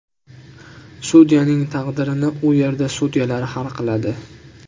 Sudyaning taqdirini u yerda sudyalar hal qiladi.